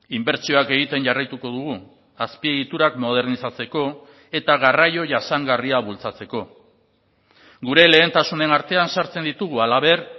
inbertsioak egiten jarraituko dugu azpiegiturak modernizatzeko eta garraio jasangarria bultzatzeko gure lehentasunen artean sartzen ditugu halaber